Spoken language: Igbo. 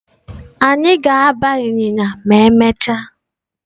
Anyị ga-agba ịnyịnya ma emechaa.